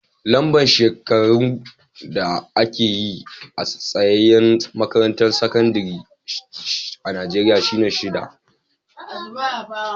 Lamba shekarun da ake yi a tsayaye makarantan sakandare a'Nijeriya shine shida.